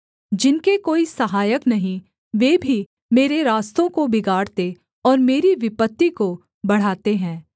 जिनके कोई सहायक नहीं वे भी मेरे रास्तों को बिगाड़ते और मेरी विपत्ति को बढ़ाते हैं